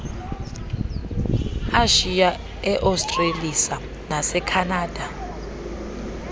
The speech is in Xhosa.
eashiya eaustralisa nasekhanada